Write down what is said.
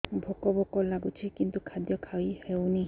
ଭୋକ ଭୋକ ଲାଗୁଛି କିନ୍ତୁ ଖାଦ୍ୟ ଖାଇ ହେଉନି